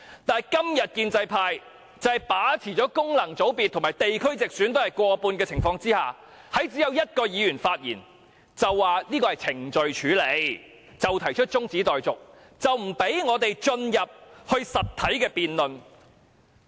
但是，今天建制派在地區直選及功能界別中均佔過半數，他們1位議員發言後，便說要按程序處理，動議中止待續議案，不准我們進入實體辯論。